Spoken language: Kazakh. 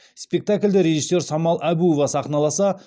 спектакльді режиссер самал әбуов сахналаса